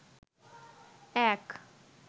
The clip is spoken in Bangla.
এক